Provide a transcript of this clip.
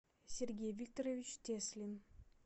сергей викторович теслин